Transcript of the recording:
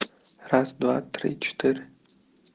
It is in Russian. раз-два-три-четыре